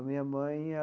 A minha mãe.